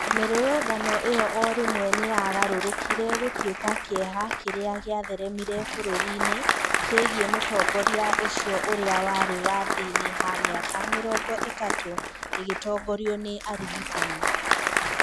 Mĩrũrũngano iyo orĩmwe nĩyagarũrũkire gũtuĩka kĩeha kĩrĩa gĩatheremire bururi-inĩ kĩgiĩ mũtongoria ĩcio ũrĩa warĩ wathani-inĩ ha mĩaka mĩrongo ĩtatũ, ĩgĩtongorio nĩ arigitani